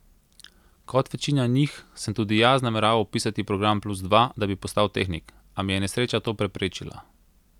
Kot večina njih sem tudi jaz nameraval vpisati program plus dva, da bi postal tehnik, a mi je nesreča to preprečila.